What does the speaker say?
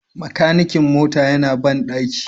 Makanikin mota yana bandaki